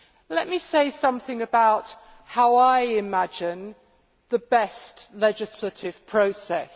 Let me say something about how I imagine the best legislative process.